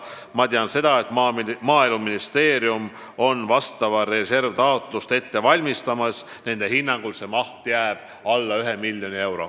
Ma tean seda, et Maaeluministeerium valmistab praegu ette vastavat taotlust raha eraldamiseks reservist ja nende hinnangul jääb selle maht alla miljoni euro.